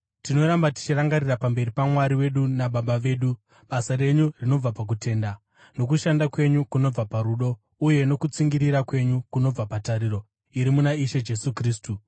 Tinoramba tichirangarira pamberi paMwari wedu naBaba vedu, basa renyu rinobva pakutenda, nokushanda kwenyu kunobva parudo, uye nokutsungirira kwenyu kunobva patariro iri muna Ishe Jesu Kristu.